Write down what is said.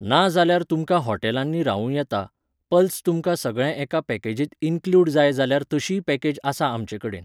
ना जाल्यार तुमकां हॉटेलांनीं रावूं येता, पल्स तुमकां सगळें एका पॅकेजींत इन्कल्यूड जाय जाल्यार तशीय पॅकेज आसा आमचे कडेन.